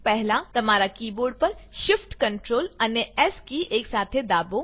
પહેલા તમારા કીબોર્ડ પર shift ctrl અને એસ કી એકસાથે દાબો